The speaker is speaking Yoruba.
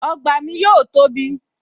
Ọgbà mi yóò tóbi